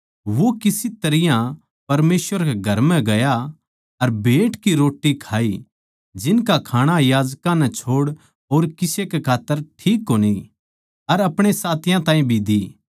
वो किस तरियां परमेसवर कै घर म्ह गया अर भेँट की रोट्टी खाई जिनका खाणा याजकां नै छोड़ और किसे खात्तर ठीक कोनी अर अपणे साथियाँ ताहीं भी दी